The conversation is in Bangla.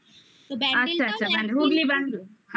আচ্ছা আচ্ছা হুগলির ব্যান্ডেলে